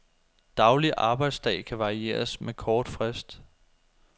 Daglig arbejdsdag kan varieres med kort frist.